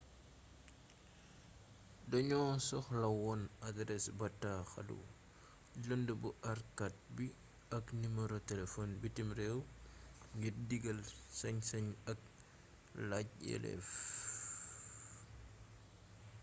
doño soxla wone adarees bataaxalu lënd bu aarkaat bi ak nimero telefon bitim réew ngir digal/sañ-sañ ak laaj yelleef